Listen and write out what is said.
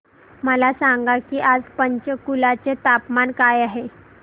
मला सांगा की आज पंचकुला चे तापमान काय आहे